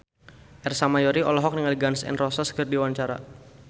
Ersa Mayori olohok ningali Gun N Roses keur diwawancara